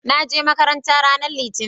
naje makaranta ranar litani